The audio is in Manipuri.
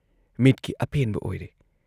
ꯃꯤꯠꯀꯤ ꯑꯄꯦꯟꯕ ꯑꯣꯏꯔꯦ ꯫